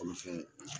Kɔnɔfɛn